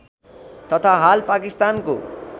तथा हाल पाकिस्तानको